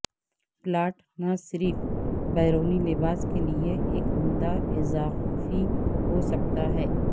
plot نہ صرف بیرونی لباس کے لئے ایک عمدہ اضافی ہو سکتا ہے